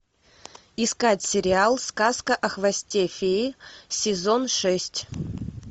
искать сериал сказка о хвосте феи сезон шесть